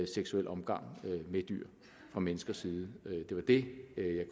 seksuel omgang med dyr fra menneskers side det var det jeg